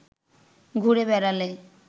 ঘুরে বেড়ালে